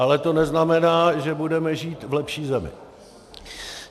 Ale to neznamená, že budeme žít v lepší zemi.